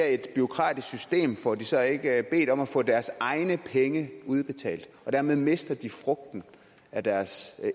et bureaukratisk system får de så ikke bedt om at få deres egne penge udbetalt og dermed mister de frugten af deres